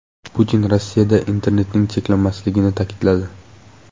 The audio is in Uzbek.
Putin Rossiyada internetning cheklanmasligini ta’kidladi.